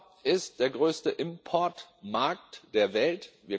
Europa ist der größte Importmarkt der Welt.